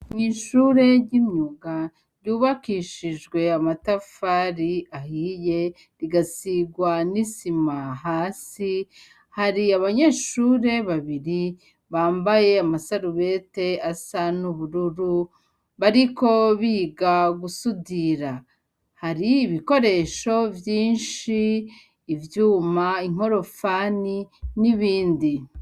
Mw'ishure ry'imyuga ryubakishijwe amatafari ahiye rigasigwa n'isima hasi hari abanyeshure babiri bambaye amasarubete asa n'ubururu bariko biga gusudira hari ibikoree esho vyinshi ivyuma inkorofani n'ibindi.